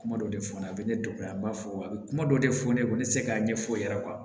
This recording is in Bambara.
Kuma dɔ de fɔ la a bɛ ne dɔgɔya n b'a fɔ a bɛ kuma dɔ de fɔ ne ye ne tɛ se k'a ɲɛfɔ o yɛrɛ